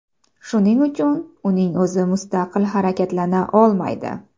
Shuning uchun, uning o‘zi mustaqil harakatlana olmaydi.